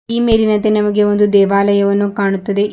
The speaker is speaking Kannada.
ಈ ಮೇಲಿನಂತೆ ನಮಗೆ ಒಂದು ದೇವಾಲಯವನ್ನು ಕಾಣುತ್ತದೆ ಈ--